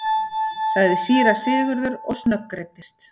sagði síra Sigurður og snöggreiddist.